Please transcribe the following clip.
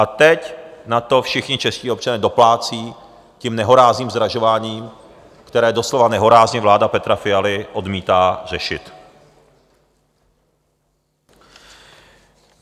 A teď na to všichni čeští občané doplácí tím nehorázným zdražováním, které doslova nehorázně vláda Petra Fialy odmítá řešit.